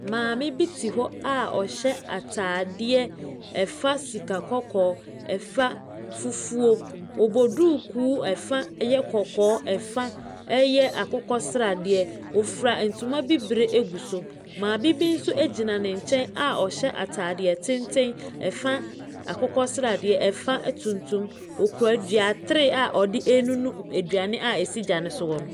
Maame bi te hɔ a ɔhyɛ atadeɛ fa sikakɔkɔɔ, fa fufuo. Ɔba duku ɛfa yɛ kɔkɔɔ, ɛfa yɛ akokɔsradeɛ. Ɔfura ntuma bibire gu so. Maame bi nso gyina n nkyɛn a ɔhyɛ atadeɛ tenten, fa akokɔsradeɛ, ɛfa tuntum. Ɔkura duatere a ɔde renunu aduane a ɛsi gya no so hɔ no.